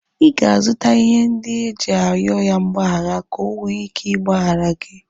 Ị ga-azụta ihe ndị iji arịọ ya mgbaghara ka o nwee ike ịgbaghara gị.